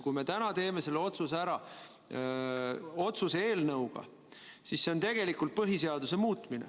Kui me selle otsuse teeme täna otsuse eelnõuga ära teeme, siis me tegelikult muudame põhiseadust.